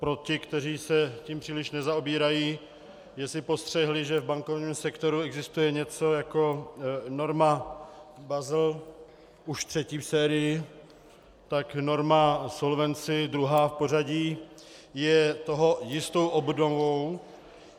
Pro ty, kteří se tím příliš nezaobírají, jestli postřehli, že v bankovním sektoru existuje něco jako norma Basel, už třetí v sérii, tak norma Solvency, druhá v pořadí, je toho jistou obdobou.